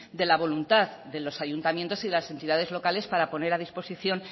de la voluntad de los ayuntamientos y de las entidades locales para poner a disposición